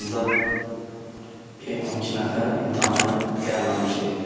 Ancaq 12 nəfər imtahana gəlməmişdi.